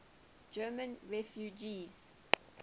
german refugees